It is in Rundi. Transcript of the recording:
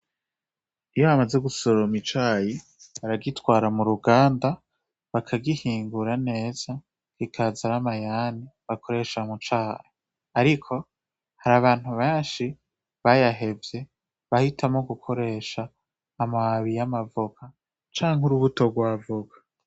Iyo bamaze gusoroma icayi, baragitwara muruganda bakagihingura neza ikaza namayani bakoresha mucayi, ariko harabantu benshi bayahevye bahitamwo gukoresha amababi yamavoka canke urubuto rwa avoka.